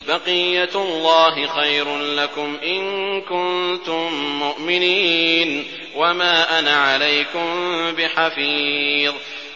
بَقِيَّتُ اللَّهِ خَيْرٌ لَّكُمْ إِن كُنتُم مُّؤْمِنِينَ ۚ وَمَا أَنَا عَلَيْكُم بِحَفِيظٍ